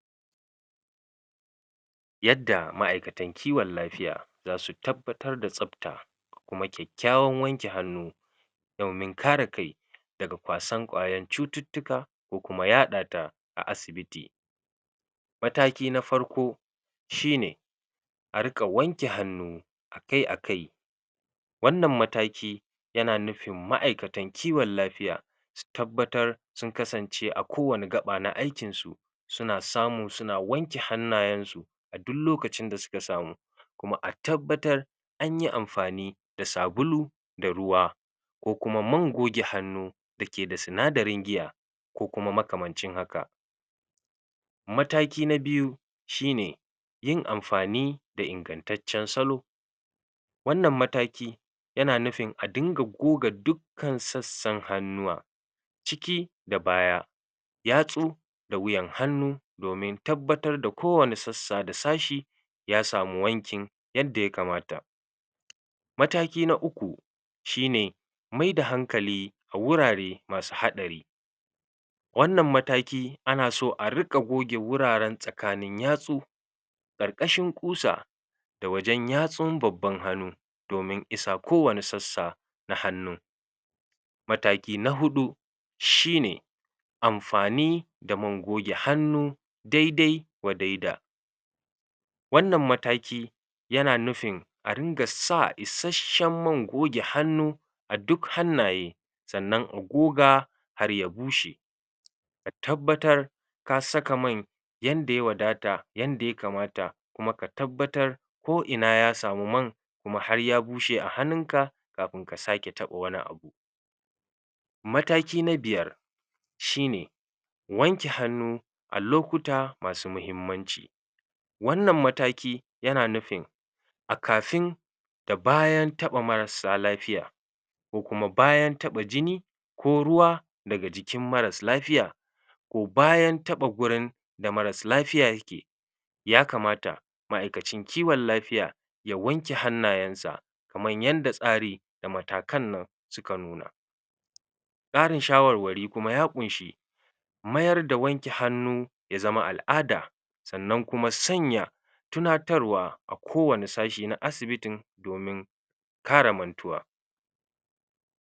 yadda ma'ikatan kiwon lafiya dasu tabbatar da tsabta kuma kyakyawawan wanke hanu domin kare kai daga kwasan ƙwayan cututtuka ko kuma yaɗata a asibiti mataki na farko shine ariƙa wanke hanu akai akai wannan mataki yana nufin ma'ikatan kiwon lafiya tabbatar sun kasance a kowani gaɓa na aikinsu suna samu suna wanke hanayen su du lokacin da suka samu kuma a tabbatar anyi anfani da sabulu da ruwa ko kuma man goge hanu dake da sinadarin iya ko kuma makamancin haka mataki na biyu shine yin anfani da ingantaccen salo wannan mataki yana nufin a dinga goga duk kan sassan hanuwa ciki da baya yatsu da wuyan hanu domin tabbatar da kowani sassa da sashi yasamu wankin yadda yakamata mataki na uku shine maida hankali wurare masu haɗari wannan mataki anaso arika goge wuraren tsakanin yatsu Varƙashin ƙusa da wajen yatsdn babban hanu domin isa kowani sassa na hanu mataki na huɗu shine anfani da man goge hanu dai dai wa dai da wanan mataki yana nufin a riƙa sa isashen man goge hanu aduk hanaye sanan a goga har ya bushe a tabbatar ka saka man yanda ya wadata yanda yakamata kuma ka tabbatar ko ina yasamu man kuma har ya bushe a hanun ka kafin ka sake taɓa wani abu mataki na biyar shine wanke hanu alokuta masu mahimmanci wanan mataki yana nufin a kafin da bayan taɓa marasa lafiya ko kuma bayan taɓa jini ko ruwa daga jikin maras lafiya ko bayan taba gurin da maras lafiya yake ya kamata ma'ikacin kiwon lafiya ya wanke hanayen sa kaman yanda tsari da matakan nan suka nuna bani shawarwari kuma ya kunshi mayar da wanke hanu ya zam al'ada sanan kuma sanya tunatarwa kowani sashi na asibitin domin kara mantuwa